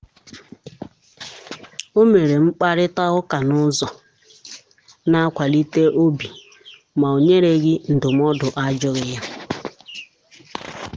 ọ mere mkparịta ụka n’ụzọ na-akwalite obi ma o nyereghị ndụmọdụ a jụghị ya.